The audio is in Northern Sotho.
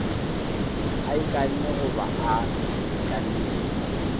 a ikanne goba a itlamile